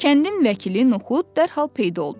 Kəndin vəkili Nuxud dərhal peyda oldu.